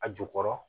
A jukɔrɔ